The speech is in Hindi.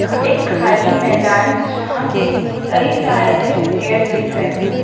एक खाली मैदान जहां पे कई सारे पेड़ दिख रहे हैं।